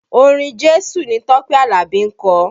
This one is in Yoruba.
Orin Jésù ni Tọ́pẹ́ Alabi ń kọ